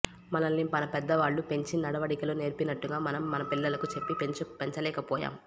మనల్ని మనపెద్దవాళ్లు పెంచి నడవడికలు నేర్పినట్టుగా మనం మన పిల్లలికి చెప్పి పెంచలేకపోయాం